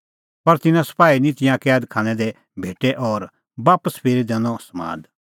पर तिन्नां सपाही निं तिंयां कैद खानै दी भेटै और बापस फिरी दैनअ समाद